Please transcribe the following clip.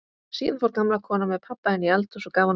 Síðan fór gamla konan með pabba inn í eldhús og gaf honum kaffi.